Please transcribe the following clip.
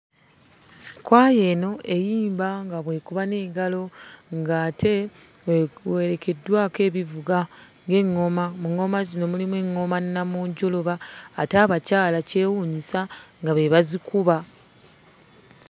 Kwaya eno eyimba nga bw'ekuba n'engalo ng'ate ewerekeddwako ebivuga ng'eŋŋoma. Mu ŋŋoma muno mulimu eŋŋoma nnamunjoloba ate abakyala kyewuunyisa nga be bazikuba.